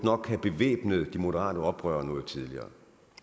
have bevæbnet de moderate oprørere noget tidligere